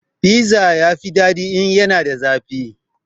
Fiza ya fi daɗi in yana da zafi